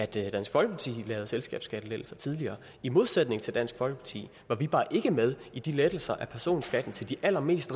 det at dansk folkeparti lavede selskabsskattelettelser tidligere i modsætning til dansk folkeparti var vi bare ikke med i de lettelser af personskatten til de allerrigeste